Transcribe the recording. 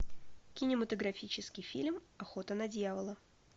кинематографический фильм охота на дьявола